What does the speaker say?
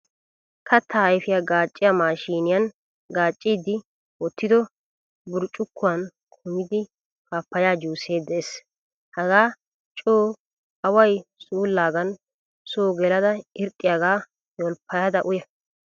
Katta ayfiyaa gaaciya mashshiniyan gacidi wottido burccukuwan kumida pappaya juuse de'ees. Hagaa co away suulagan so gelada irxxiyaga yolppayda uyya.